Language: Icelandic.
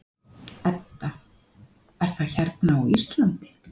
Edda: Er það hérna á Íslandi?